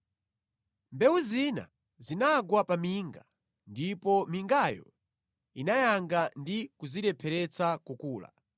Mbewu zina zinagwa pa minga ndipo mingayo inayanga ndi kuzirepheretsa kukula.